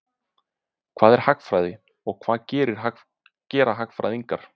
Hvað er hagfræði og hvað gera hagfræðingar?